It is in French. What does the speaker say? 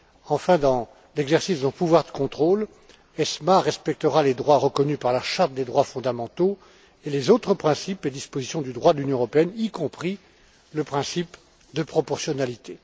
Enfin, dans l'exercice d'un pouvoir de contrôle, ESMA respectera les droits reconnus par la Charte des droits fondamentaux et les autres principes et dispositions du droit de l'Union européenne, y compris le principe de proportionnalité.